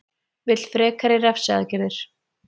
Vill frekari refsiaðgerðir